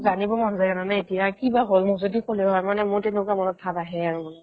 জানিব মন যায় জানানে এতিয়া কি বা হ'ল মোক যদি ক'লে হৈ মানে মোৰ তেনেকুৱা মনত ভাৱ আহে আৰু মানে